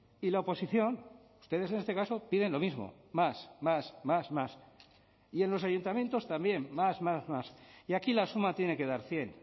y la oposición ustedes en este caso piden lo mismo más más más más y en los ayuntamientos también más más más y aquí la suma tiene que dar cien